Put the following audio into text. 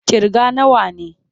Ƙirga nawa ne!